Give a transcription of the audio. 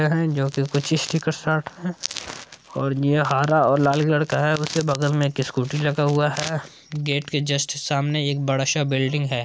यह जोकी कुछ स्टीकर सा है और ये हारा और लाल कलर का है उसके बगल मे एक स्कूटी लगा हुआ है गेट के जस्ट सामने एक बड़ा-सा बिल्डिंग है।